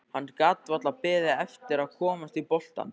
Hann gat varla beðið eftir að komast í boltann.